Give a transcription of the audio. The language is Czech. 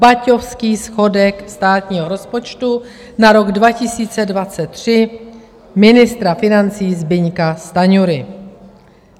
Baťovský schodek státního rozpočtu na rok 2023 ministra financí Zbyňka Stanjury.